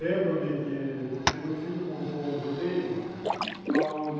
Lembro-me porque meu filho montou um roteiro aonde